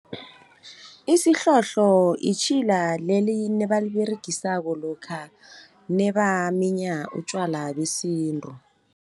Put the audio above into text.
Isihlohlo itjhila leli nebaliberegisako lokha nebaminya utjwala besintu.